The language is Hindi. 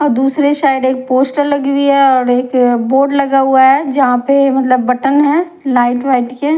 अ दूसरे साइड एक पोस्टर लगी हुई हैं औड एक बोर्ड लगा हुआ हैं जहाँ पे मतलब बटन हैं लाइट वाइट के--